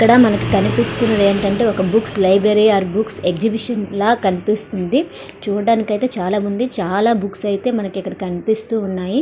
ఇక్కడ మనకు కనిపిస్తున్నది ఏమిటి అంటే ఒక books library or books exhibition లాగా కనిపిస్తుంది. చూడడానికి అయితే చాలామంది చాలా బుక్స్ అయితే కనిపిస్తూ ఉన్నాయి.